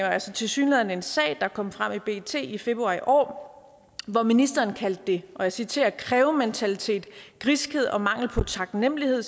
er tilsyneladende en sag der kom frem i bt i februar i år hvor ministeren kaldte det og jeg citerer krævementalitet griskhed og mangel på taknemmelighed